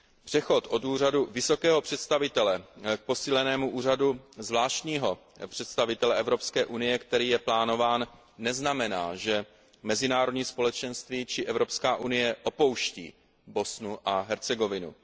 Přechod od Úřadu vysokého představitele k posílenému Úřadu zvláštního představitele Evropské unie, který je plánován, neznamená, že mezinárodní společenství či Evropská unie opouští Bosnu a Hercegovinu.